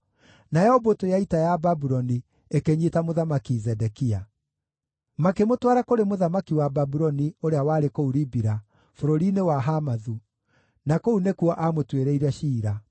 Nayo mbũtũ ya ita ya Babuloni ĩkĩnyiita Mũthamaki Zedekia. Makĩmũtwara kũrĩ mũthamaki wa Babuloni ũrĩa warĩ kũu Ribila, bũrũri-inĩ wa Hamathu, na kũu nĩkuo aamũtuĩrĩire ciira.